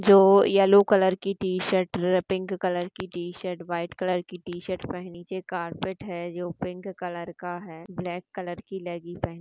जो yellow colour की T shirt pink colour T short white colour की T shirt पहने एक नीचे कारपेट है पिंक कलर का है ब्लैक कलर की लेग्गिंग पहनी--